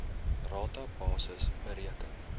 rata basis bereken